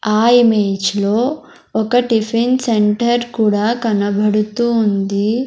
ఆ ఇమేజ్ లో ఒక టిఫిన్ సెంటర్ కూడా కనబడుతూ ఉంది.